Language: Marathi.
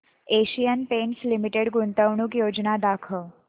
एशियन पेंट्स लिमिटेड गुंतवणूक योजना दाखव